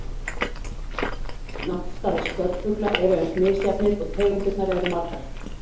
Náttstaðir spörfugla eru eins misjafnir og tegundirnar eru margar.